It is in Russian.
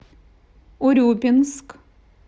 урюпинск